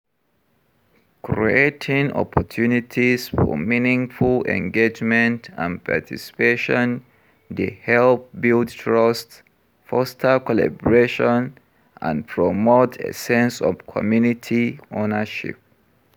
Creating opportunities for meaningful engagement and participation dey help build trust, foster collaboration, and promote a sense of community owernership.